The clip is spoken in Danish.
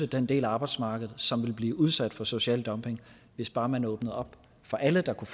den del af arbejdsmarkedet som vil blive udsat for social dumping hvis bare man åbnede op for alle der kunne